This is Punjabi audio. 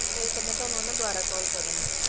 ਹੋਈ ਤਾਂ ਮੈਂ ਤੁਹਾਨੂੰ ਹਨਾ ਦੁਬਾਰਾ call ਕਰੂੰਗੀ।